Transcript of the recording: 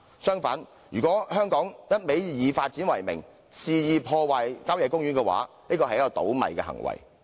相反，如果香港以發展為名，肆意破壞郊野公園，是一個"倒米"的行為。